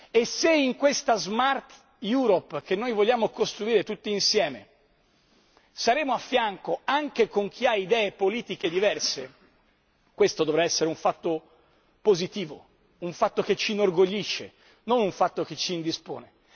E se in questa Smart Europe che noi vogliamo costruire tutti insieme saremo a fianco anche di chi ha idee politiche diverse, questo dovrà essere un fatto positivo, un fatto che ci inorgoglisce, non un fatto che ci indispone.